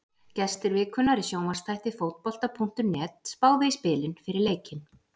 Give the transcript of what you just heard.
Gestir vikunnar í sjónvarpsþætti Fótbolta.net spáðu í spilin fyrir leikinn.